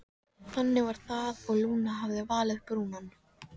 Þannig var það og Lúna hafði valið Brúnan.